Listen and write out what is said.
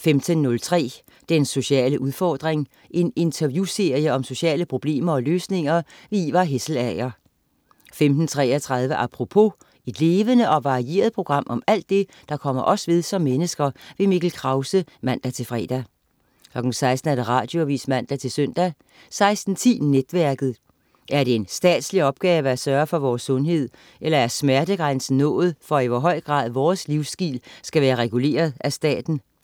15.03 Den sociale udfordring. En interviewserie om sociale problemer og løsninger. Ivar Hesselager 15.33 Apropos. Et levende og varieret program om alt det, der kommer os ved som mennesker. Mikkel Krause (man-fre) 16.00 Radioavis (man-søn) 16.10 Netværket. Er det en statslig opgave at sørge for vores sundhed, eller er smertegrænsen nået for, i hvor høj grad vores livsstil skal være reguleret af staten?